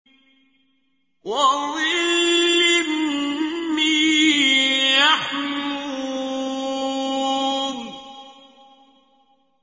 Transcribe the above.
وَظِلٍّ مِّن يَحْمُومٍ